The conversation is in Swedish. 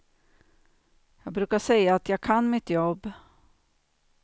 Jag brukar säga att jag kan mitt jobb.